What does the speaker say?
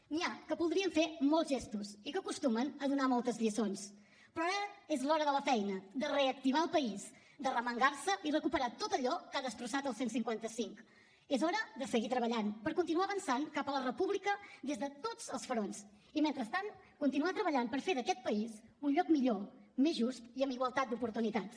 n’hi ha que voldrien fer molts gestos i que acostumen a donar moltes lliçons però ara és l’hora de la feina de reactivar el país d’arremangar se i recuperar tot allò que ha destrossat el cent i cinquanta cinc és hora de seguir treballant per continuar avançant cap a la república des de tots els fronts i mentrestant continuar treballant per fer d’aquest país un lloc millor més just i amb igualtat d’oportunitats